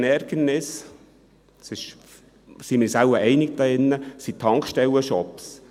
Das grösste Ärgernis – darüber sind wir uns hier wohl einig – sind Tankstellenshops.